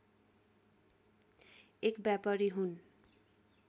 एक व्यापारी हुन्